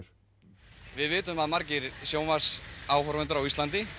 við vitum að margir sjónvarpsáhorfendur á Íslandi